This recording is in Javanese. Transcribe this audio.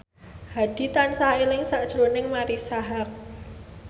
Hadi tansah eling sakjroning Marisa Haque